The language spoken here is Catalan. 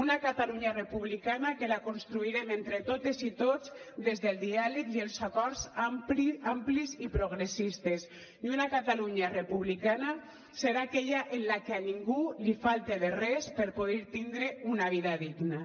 una catalunya republicana que la construirem entre totes i tots des del diàleg i els acords amplis i progressistes i una catalunya republicana serà aquella en la que a ningú li falti de res per poder tindre una vida digna